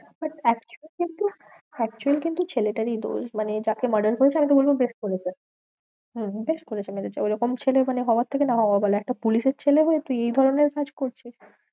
But actual কিন্তু actual কিন্তু ছেলেটারই দোষ, মানে যাকে murder করেছে, আমি তো বলবো বেশ করেছে হম হম বেশ করেছে মেরেছে, ঐরকম ছেলে মানে হওয়ার থেকে না হওয়া ভালো, একটা পুলিশের ছেলে হয়ে তুই এই ধরণের কাজ করছিস।